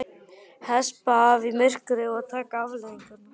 Hespa af í myrkri og taka afleiðingunum.